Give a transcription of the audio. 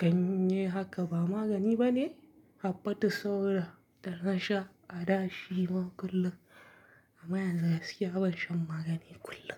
ganye haka ba magani bane, habbatus sauda da na sha a da shi ma kullum, amma yanzu gaskiya ban shan magani kullum.